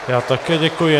Já také děkuji.